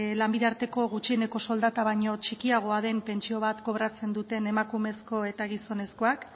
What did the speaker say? lanbide arteko gutxieneko soldata baino txikiagoa den pentsio bat kobratzen duten emakumezko eta gizonezkoak